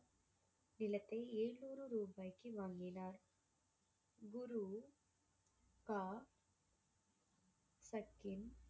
விளக்கை எழுநூறு ரூபாய்க்கு வாங்கினார் குரு